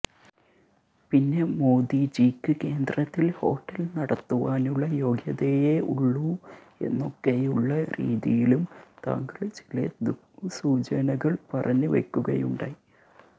പിന്നെ മോദിജിക്ക് കേന്ദ്രത്തില് ഹോട്ടല് നടത്തുവാനുള്ള യോഗ്യതയേ ഉള്ളൂ എന്നൊക്കെയുള്ള രീതിയിലും താങ്കള് ചില ദുഃസൂചനകള് പറഞ്ഞ് വയ്ക്കുകയുണ്ടായി